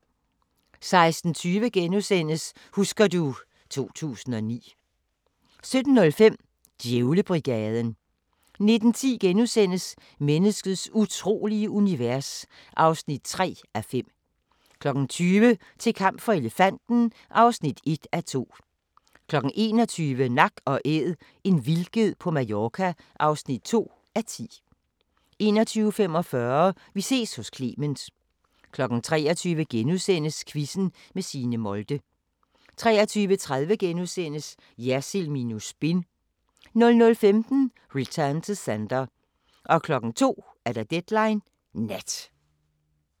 16:20: Husker du ... 2009 * 17:05: Djævlebrigaden 19:10: Menneskets utrolige univers (3:5)* 20:00: Til kamp for elefanten (1:2) 21:00: Nak & Æd – en vildged på Mallorca (2:10) 21:45: Vi ses hos Clement 23:00: Quizzen med Signe Molde * 23:30: Jersild minus spin * 00:15: Return to Sender 02:00: Deadline Nat